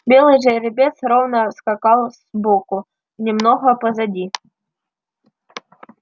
белый жеребец ровно скакал сбоку немного позади